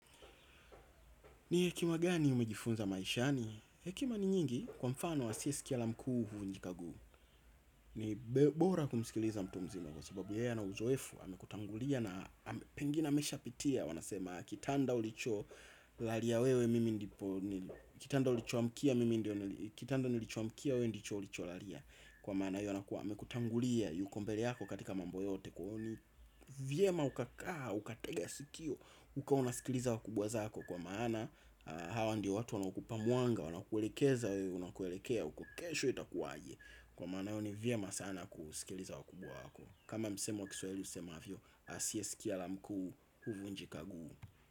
Ni hekima gani umejifunza maishani? Hekima ni nyingi kwa mfano wa asie sikia la mkuu uvunjika guu. Ni bora kumsikiliza mtu mzima kwa sababu yeye ana uzoefu amekutangulia na pengine amesha pitia. Wanasema kitanda ulicho lalia we mimi ndipo, kitanda ulicho amkia mimi ndio, kitanda ulicho amkia we ndicho ulicho lalia. Kwa maana hio anakuwa amekutangulia yuko mbele yako katika mambo yote kwahiyo ni vyema ukakaa, ukatega sikio, ukawa unasikiliza wakubwa zako kwa maana hawa ndiyo watu wanaokupa mwanga. Wana kuelekeza wewe unakoelekea uko kesho itakuwaje. Kwa maana hiyo ni vyema sana kusikiliza wakubwa wako. Kama msemo kiswahili usema vyo asiesikia la mkuu huvu njikaguu.